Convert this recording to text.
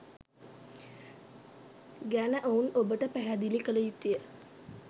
ගැන ඔවුන් ඔබට පැහැදිලි කළ යුතුය.